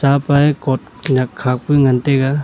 apa e coat nyak khak pa ngan taiga.